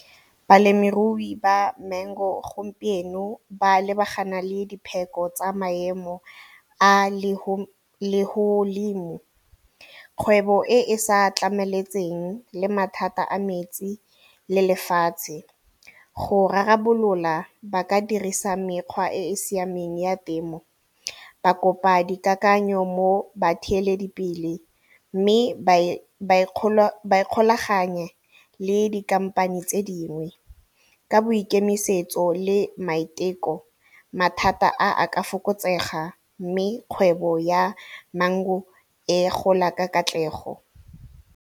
Balemirui ba mango gompieno ba lebagana le dipheko tsa maemo a . Kgwebo e e sa tlametseng le mathata a metsi le lefatshe, go rarabolola ba ka dirisa mekgwa e e siameng ya temo ba kopa dikakanyo mo batheeledipele mme ba ikgolaganye le di-company tse dingwe ka boikemisetso le maiteko mathata a a ka fokotsega mme kgwebo ya mango e gola ka katlego.